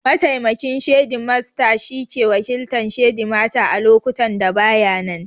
Mataimakin shedimasta shi ke wakiltan shedimata a lokutan da ba ya nan